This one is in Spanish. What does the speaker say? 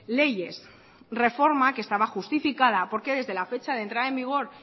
leyes reforma que estaba justificada porque desde la fecha de entrada en vigor